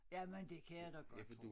Jamen det kan jeg da godt tro